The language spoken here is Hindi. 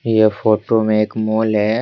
यह फोटो में एक मॉल है।